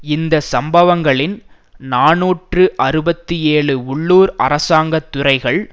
இந்த சம்பவங்களின் நாநூற்று அறுபத்தி ஏழில் உள்ளூர் அரசாங்க துறைகள்